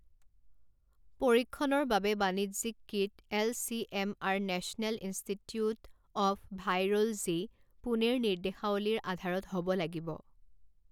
পৰীক্ষণৰ বাবে বাণিজ্যিক kit L C M R national institute of virology, পুনেৰ নিৰ্দেশাৱলীৰ আধাৰত হ'ব লাগিব।